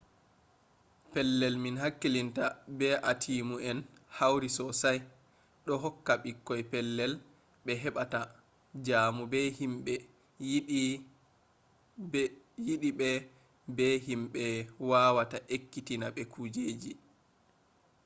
pellel min hakkilinta be atiimu en hauri sosai ɗo hokka ɓikkoi pellel ɓe heɓata jamu be himɓe yiɗi ɓe be himɓe wawata ekkitina ɓe kujeji